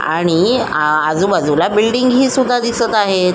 आणि आजूबाजूला बिल्डिंगी सुद्धा दिसत आहे.